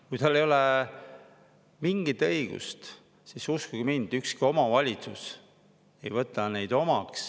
Kui tal ei ole mingit õigust, siis uskuge mind, ükski omavalitsus ei võta teda omaks.